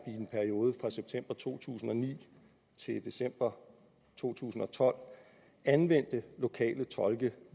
i en periode fra september to tusind og ni til december to tusind og tolv anvendte lokale tolke